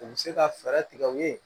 U bɛ se ka fɛɛrɛ tigɛ u ye